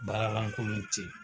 Baara lankolon te yen